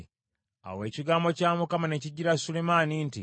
Awo ekigambo kya Mukama ne kijjira Sulemaani nti,